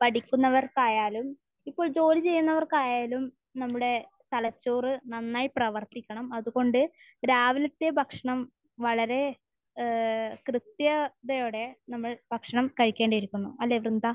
പഠിക്കുന്നവർക്കായാലും ഇപ്പോൾ ജോലി ചെയ്യുന്നവർക്കായാലും നമ്മുടെ തലച്ചോർ നന്നായി പ്രവർത്തിക്കണം. അത്കൊണ്ട് രാവിലത്തെ ഭക്ഷണം വളരെ ഏഹ് കൃത്യതയോടെ നമ്മൾ ഭക്ഷണം കഴിക്കേണ്ടിയിരിക്കുന്നു. അല്ലെ, വൃന്ദ?